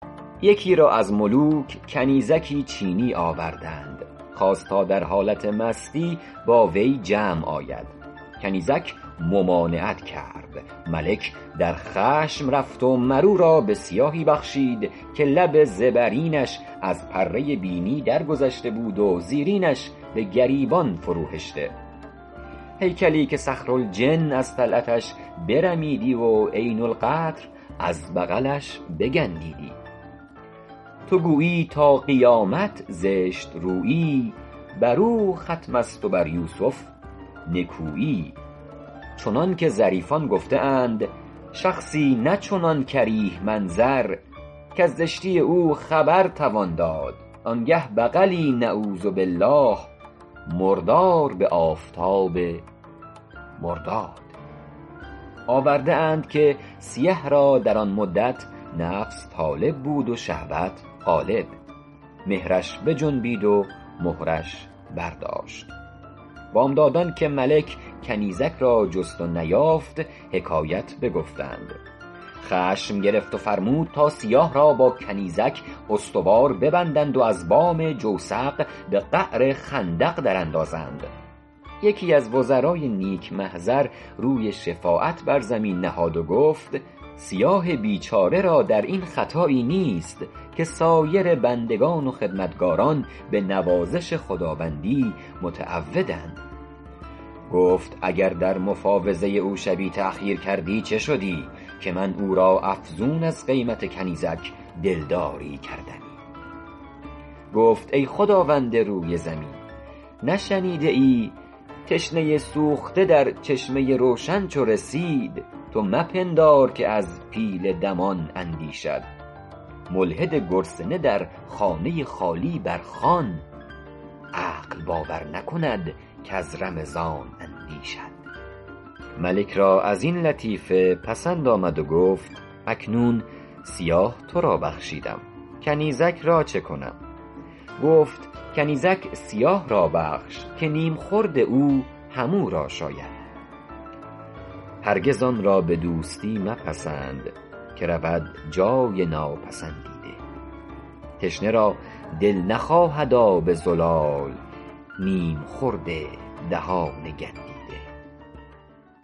یکی را از ملوک کنیزکی چینی آوردند خواست تا در حالت مستی با وی جمع آید کنیزک ممانعت کرد ملک در خشم رفت و مر او را به سیاهی بخشید که لب زبرینش از پره بینی درگذشته بود و زیرینش به گریبان فرو هشته هیکلی که صخرالجن از طلعتش برمیدی و عین القطر از بغلش بگندیدی تو گویی تا قیامت زشت رویی بر او ختم است و بر یوسف نکویی چنان که ظریفان گفته اند شخصی نه چنان کریه منظر کز زشتی او خبر توان داد آن گه بغلی نعوذ باللٰه مردار به آفتاب مرداد آورده اند که سیه را در آن مدت نفس طالب بود و شهوت غالب مهرش بجنبید و مهرش برداشت بامدادان که ملک کنیزک را جست و نیافت حکایت بگفتند خشم گرفت و فرمود تا سیاه را با کنیزک استوار ببندند و از بام جوسق به قعر خندق در اندازند یکی از وزرای نیک محضر روی شفاعت بر زمین نهاد و گفت سیاه بیچاره را در این خطایی نیست که سایر بندگان و خدمتکاران به نوازش خداوندی متعودند گفت اگر در مفاوضه او شبی تأخیر کردی چه شدی که من او را افزون از قیمت کنیزک دلداری کردمی گفت ای خداوند روی زمین نشنیده ای تشنه سوخته در چشمه روشن چو رسید تو مپندار که از پیل دمان اندیشد ملحد گرسنه در خانه خالی بر خوان عقل باور نکند کز رمضان اندیشد ملک را این لطیفه پسند آمد و گفت اکنون سیاه تو را بخشیدم کنیزک را چه کنم گفت کنیزک سیاه را بخش که نیم خورده او هم او را شاید هرگز آن را به دوستی مپسند که رود جای ناپسندیده تشنه را دل نخواهد آب زلال نیم خورد دهان گندیده